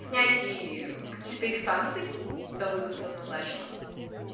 снятие каких-то их санкций когда вывоз назначена